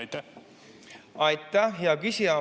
Aitäh, hea küsija!